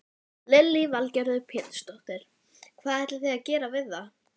Lillý Valgerður Pétursdóttir: Hvað ætlið þið að gera við það?